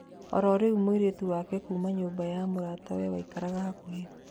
O irĩ mũirĩtu wake kuuma nyũmba ya mũratawe waikaraga hakuhĩ